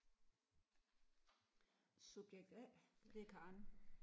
Subjekt A det er Karen